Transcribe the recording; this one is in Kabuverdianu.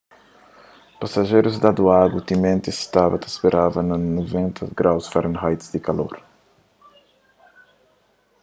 pasajerus dadu agu timenti es staba ta speraba na 90f-grau di kalor